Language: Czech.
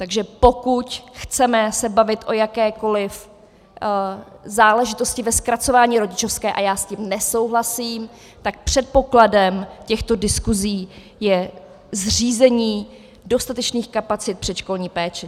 Takže pokud chceme se bavit o jakékoliv záležitosti ve zkracování rodičovské, a já s tím nesouhlasím, tak předpokladem těchto diskusí je zřízení dostatečných kapacit předškolní péče.